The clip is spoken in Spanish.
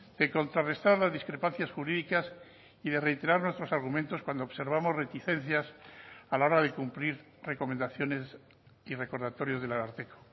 de contrarrestar las discrepancias jurídicas y de reiterar nuestros argumentos cuando observamos reticencias a la hora de cumplir recomendaciones y recordatorios del ararteko